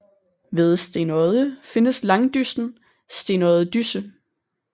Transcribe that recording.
Ved Stenodde findes langdyssen Stenodde Dysse